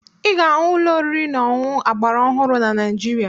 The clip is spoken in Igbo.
Ị ga-ahụ ụlọ oriri na ọṅụṅụ agbaraọhụrụ na Naịjirịa